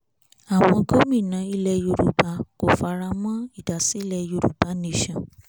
àwọn gómìnà ilẹ̀ yorùbá kò faramọ́ ìdásílẹ̀ yorùbá nation